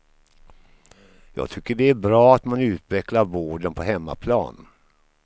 Jag tycker det är bra att man utvecklar vården på hemmaplan.